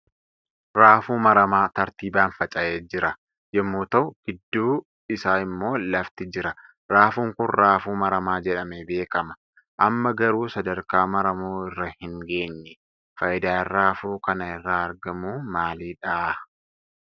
Raafuu maramaa tartiibaan faca'ee j'irai yommuu ta'u gidduu isaa immoo lafti jira. Raafuun Kun raafuu maramaa jedhamee beekama. Amma garuu sadarkaa maramuu irra hin geenye . Faayidaan raafuu kana irraa argamu maali?